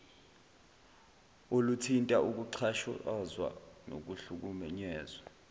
oluthinta ukuxhashazwa nokuhlukunyezwa